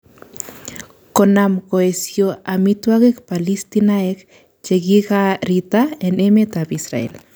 Konam koesio amitwagik Palestiniek chekikarita en emet ab Israel